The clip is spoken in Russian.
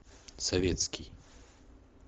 советский